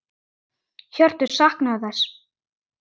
Hjörtur: Saknarðu þess?